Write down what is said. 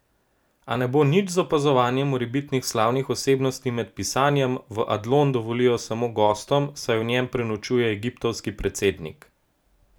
A ne bo nič z opazovanjem morebitnih slavnih osebnosti med pisanjem, v Adlon dovolijo samo gostom, saj v njem prenočuje egiptovski predsednik.